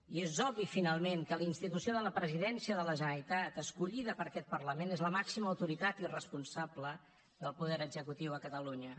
i és obvi finalment que la institució de la presidència de la generalitat escollida per aquest parlament és la màxima autoritat i responsable del poder executiu a catalunya